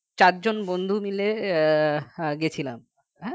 চারজন বন্ধু মিলে আহ গেছিলাম হ্যাঁ